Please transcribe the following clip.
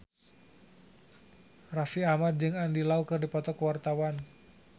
Raffi Ahmad jeung Andy Lau keur dipoto ku wartawan